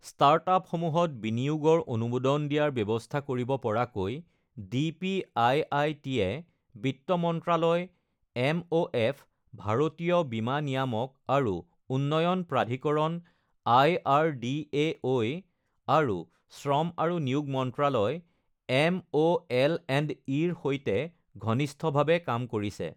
ষ্টাৰ্টআপসমূহত বিনিয়োগৰ অনুমোদন দিয়াৰ ব্যৱস্থা কৰিব পৰাকৈ ডিপিআইআইটি য়ে বিত্ত মন্ত্ৰালয় এমঅএফ, ভাৰতীয় বীমা নিয়ামক আৰু উন্নয়ন প্ৰাধিকৰণ আইআৰডিএআই, আৰু শ্ৰম আৰু নিয়োগ মন্ত্ৰালয় এমঅএলএণ্ডই ৰ সৈতে ঘনিষ্ঠভাৱে কাম কৰিছে।